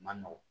Man nɔgɔn